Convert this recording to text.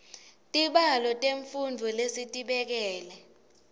tibalo temfundvo lesitibekele